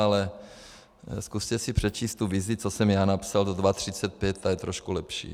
Ale zkuste si přečíst tu vizi, co jsem já napsal, do 2035, ta je trošku lepší.